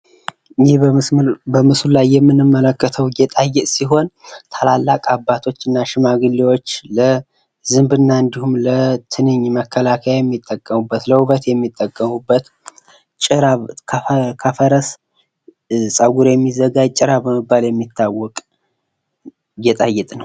በምስሉ ላይ ምንመለከተው ጌጣጌጥ ሲሆን ታላላቅ አባቶችና ሽማግሌዎች ለዝንብና እንዲሁም ለትንኝ መከላከያ የሚጠቀሙበት ለውብት የሚጠቀሙበት ጭራ ከፈርስ ጸጉር የሚዘጋጅ ጭራ በመባል የሚታወቅ ጌጣጌጥ ነው።